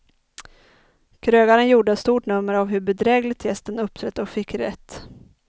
Krögaren gjorde stort nummer av hur bedrägligt gästen uppträtt och fick rätt.